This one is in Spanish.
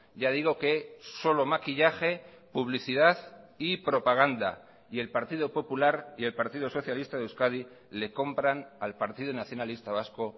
ya digo que solo maquillaje publicidad y propaganda y el partido popular y el partido socialista de euskadi le compran al partido nacionalista vasco